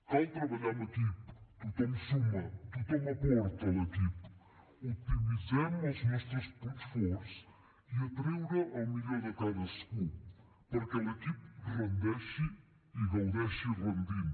cal treballar en equip tothom suma tothom aporta a l’equip optimitzem els nostres punts forts i a treure el millor de cadascú perquè l’equip rendeixi i gaudeixi rendint